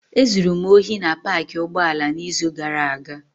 Ezuru m ohi na paakị ụgbọala n'izu gara aga.